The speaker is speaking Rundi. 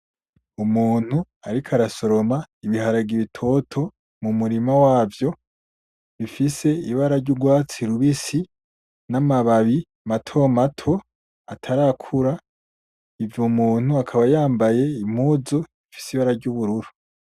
Umuntu ariko arasoroma ibiharage bitoto mu murima wavyo bifise ibara ry'urwatsi rubisi n,amababi mato mato atarakura uwo muntu akaba yambaye impuzu zifise ibara ry'ubururu .